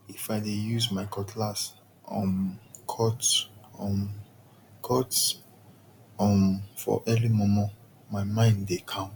if i dey use my cutlass um cut um cut um for early momo my mind dey calm